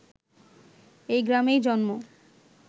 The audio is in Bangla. এই গ্রামেই জন্ম